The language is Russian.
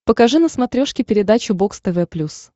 покажи на смотрешке передачу бокс тв плюс